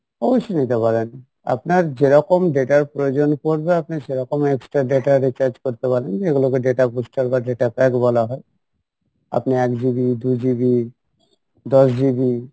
অবশ্যই নিতে পারেন আপনার যেরকম data এর প্রয়োজন পড়বে আপনি সেরকম extra data recharge করতে পারেন এগুলোকে data booster বা data pack বলা হয় আপনি এক GB দু GB দশ GB